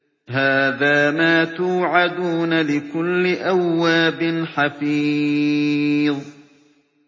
هَٰذَا مَا تُوعَدُونَ لِكُلِّ أَوَّابٍ حَفِيظٍ